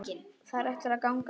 Þær ætla að ganga heim.